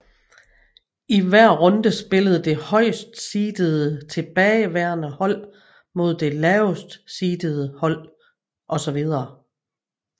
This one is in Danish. I hver runde spillede det højst seedede tilbageværende hold mod det lavest seedede hold osv